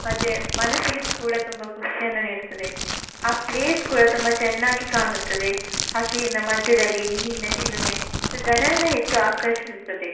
ಮತ್ತೆ ಮನಿಸ್ಸಿಗೆ ಕೂಡ ತುಂಬ ಖುಷಿಯನ್ನ ನೀಡುತ್ತದ್ದೆ ಆ ಪ್ಲೇಸ್ ಕೂಡ ತುಂಬಾ ಚೆನ್ನಾಗಿ ಕಾಣುತ್ತದ್ದೆ ಹಸಿರಿನ ಮಧ್ಯದಲ್ಲಿ ನೀರಿನ ಚಿಲುಮೆ ಜನರನ್ನ ಹೆಚ್ಚು ಆಕರ್ಷಿಸುತದ್ದೆ.